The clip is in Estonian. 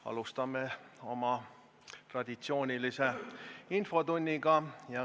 Alustame oma traditsioonilist infotundi.